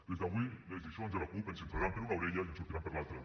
des d’avui les lliçons de la cup ens entraran per una orella i ens sortiran per l’altra